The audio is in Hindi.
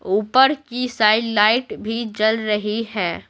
ऊपर की साइड लाइट भी जल रही है।